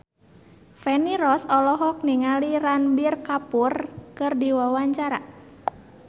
Feni Rose olohok ningali Ranbir Kapoor keur diwawancara